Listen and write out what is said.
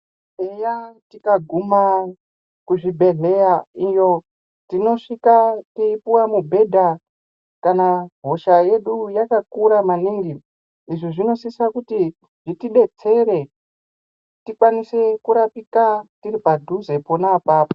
Eya tikaguma kuzvibhedhleya iyo tinosvika teipuwa mubhedha kana hosha yedu yakakura maningi. Izvi zvinosisa kuti zvitidetsere tikwanise kurapika tiri padhuze pona apapo.